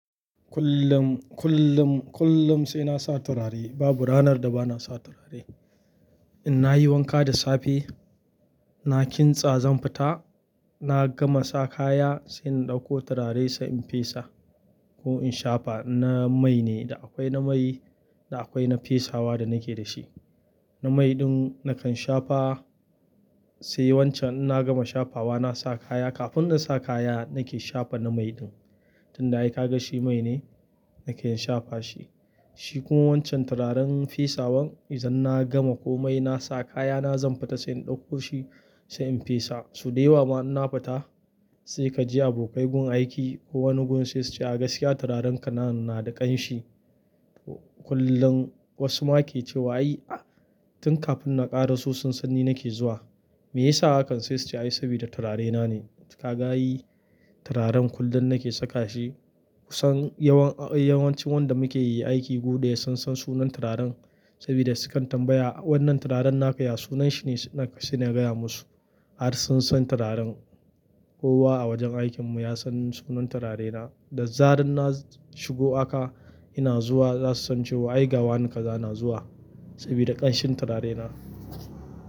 Kullum, kullum, kullum sai na sa turare. Babu ranar da ba na sa turare. In nayi wanka da safe, na kintsa zan fita, na gama sa kaya sai na ɗauko turare sai in fesa ko in shafa. Na mai ne, da akwai na mai da akwai na fesawa da nake da shi. Na mai ɗin nakan shafa sai wancan in na gama shafawa na sa kaya. Kafin na sa kaya nake shafa na mai ɗin. Tun da aka ga shi mai ne nake shafa shi. Shi kuma wancan turaren fesawan idan na gama komai na sa kaya na zan fita sai in ɗauko shi sai in fesa. So dayawa ma in na fita sai ka ji abokai gun aiki ko wani gun sai su ce "A gaskiya turaren ka nan na da ƙanshi." Kullum wasu ma ke cewa "Ai tun kafin na ƙara so sun san ni nake zuwa." Me yasa hakan sai su ce "Ai saboda turare na ne." Ka ga ai turaren kullum nake saka shi. Kusan yawan, yawancin wanda muke yi aiki guda ya san sunan turaren saboda su kan tambaya "Wannan turaren naka ya sunan shi ne?" Sai na gaya musu har sun san turaren. Kowa a wajen aikin mu ya san sunan turare na. Da zarar na shigo haka ina zuwa za su san cewa ai ga wane kaza na zuwa saboda ƙanshin turare na.